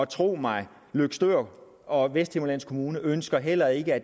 tro mig løgstør og vesthimmerlands kommune ønsker heller ikke at